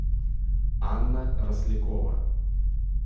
анна рослякова